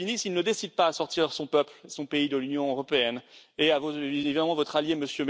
Salvini, s'il ne décide pas à sortir son peuple, son pays de l'Union européenne, et évidemment votre allié, M.